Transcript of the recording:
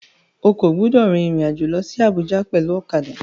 O kò gbúdọ̀ rin ìrìn àjò lọsí Abùjá pẹ̀lú ọ̀kadà.